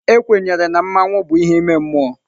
Ekwenyere na mmanwu bụ ihe ime mmụọ.